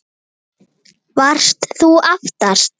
Þóra: Varst þú aftast?